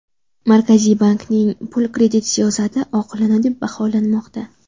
Markaziy bankning pul-kredit siyosati oqilona deb baholanmoqda.